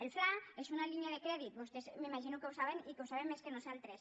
el fla és una línia de crèdit vostès m’imagino que ho saben i que ho saben més que nosaltres